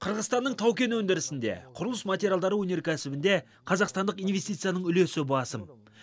қырғызстанның тау кен өндірісінде құрылыс материалдары өнеркәсібінде қазақстандық инвестицияның үлесі басым